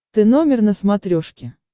ты номер на смотрешке